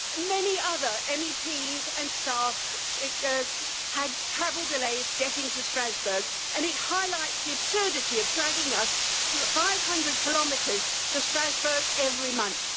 Many other MEPs and staff had travel delays getting to Strasbourg, and it highlights the absurdity of dragging us 500 kilometres to Strasbourg every month.